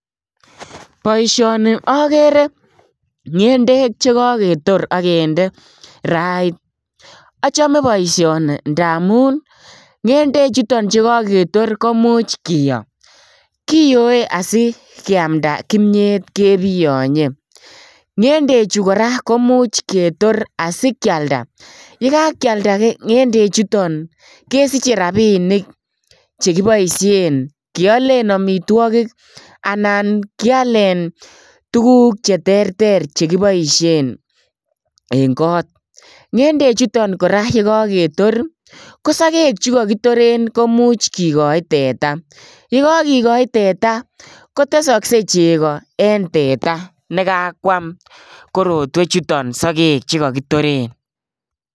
Boishoni where ngendek chekoketor ak kende kirait. Achome boishoni ndamun ngendechuton chekoketor, komuch kiyoo. Kiyoe asikiamdaa kimyet kebiyonye, ngendechu kora komuch ketoor asikialdaa. Yekakialdaa ngendechuton kesiche rabinik chekibooshien kiolen amitwogik anan kialen tuguk che terter chekiboishien en got. Ngendechuyon yekoketor kosogek chekokitoren koimuch kikochi teta, yakokikochi teta kotesoksei chegoo nekakwam. korotwechuton sogeek chekokitoreen.